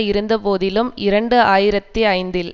இருந்த போதிலும் இரண்டு ஆயிரத்தி ஐந்தில்